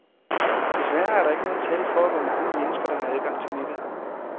Desværre er der ikke noget tal for, hvor mange mennesker, der har adgang til nettet.